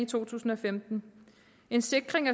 to tusind og femten en sikring